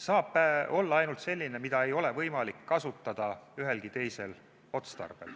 saab olla ainult selline, mida ei ole võimalik kasutada ühelgi teisel otstarbel.